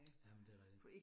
Jamen det rigtigt